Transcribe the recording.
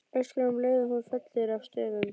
Öskra um leið og hún fellur að stöfum.